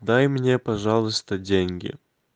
дай мне пожалуйста деньги